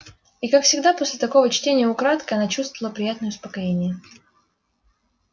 и как всегда после такого чтения украдкой она чувствовала приятное успокоение